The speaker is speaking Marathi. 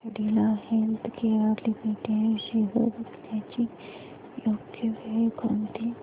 कॅडीला हेल्थकेयर लिमिटेड शेअर्स विकण्याची योग्य वेळ कोणती